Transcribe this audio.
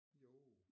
Jo